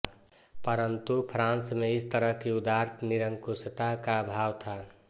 परन्तु फ्रांस में इस तरह कि उदार निरंकुशता का आभाव था